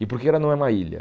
E por que ela não é uma ilha?